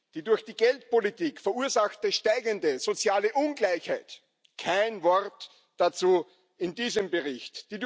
Die durch die Geldpolitik verursachte steigende soziale Ungleichheit kein Wort dazu in diesem Bericht.